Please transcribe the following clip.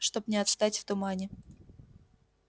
чтоб не отстать в тумане